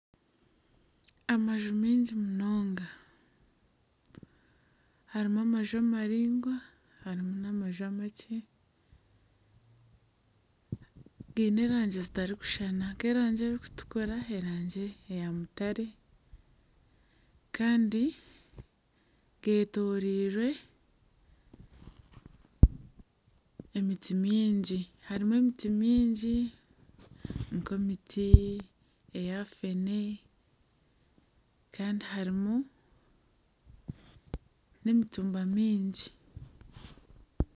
Amaju maingi munonga harimu amaju amaraingwa harimu n'amaju amakye, gaine erangi zitarikushushana nk'erangi erikutukura n'erangi eya mutare kandi geetooreirwe emiti mingi harimu emiti mingi nk'emiti eya feene kandi harimu n'emitumba mingi